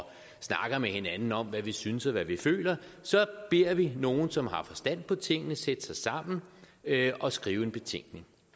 snakker med hinanden om hvad vi synes og hvad vi føler så beder vi nogle som har forstand på tingene sætte sig sammen og skrive en betænkning